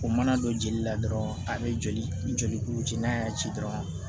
O mana don jeli la dɔrɔn ani joli ni joli kuru ci n'a y'a ci dɔrɔn